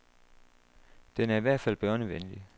Den er i hvert fald børnevenlig.